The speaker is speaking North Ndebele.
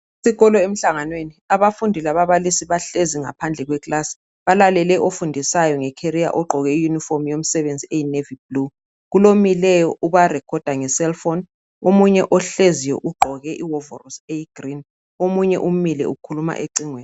Isikolo emhlanganweni abafundi lababalisi bahlezi ngaphandle kwekilasi balalele obafundisayo nge kheriya ogqoke iyunifomu yomsebenzi eyi navi bhulu kulomileyo obarekhoda nge selufoni omunye ohleziyo ugqoke iwovorosi eyigirini omunye umile ukhuluma ecingweni.